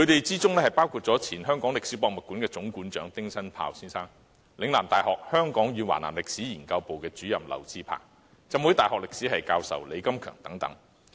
這群人包括香港歷史博物館前總館長丁新豹、嶺南大學香港與華南歷史研究部主任劉智鵬、香港浸會大學歷史系教授李金強等。